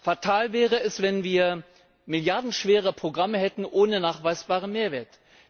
Fatal wäre es, wenn wir milliardenschwere Programme hätten ohne nachweisbaren Mehrwert.